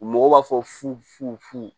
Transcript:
Mɔgɔw b'a fɔ fu fu fu